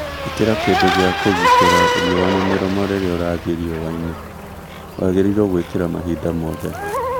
Ikĩra kĩndũ gĩa kũgitĩra riũa na mĩromo rĩrĩa ũrathiĩ riũa-inĩ , wagĩrĩrwo gwĩkĩra mahinda mothe